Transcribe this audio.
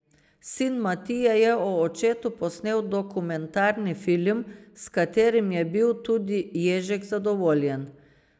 Sin Matija je o očetu posnel dokumentarni film, s katerim je bil tudi Ježek zadovoljen.